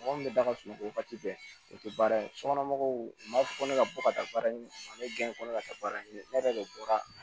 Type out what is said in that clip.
Mɔgɔ min bɛ daga sunɔgɔ wagati bɛɛ o tɛ baara ye sokɔnɔ mɔgɔw u b'a fɔ ko ne ka bɔ ka taa baara ɲini ne ko ne ka taa baara ɲini ne yɛrɛ de bɔra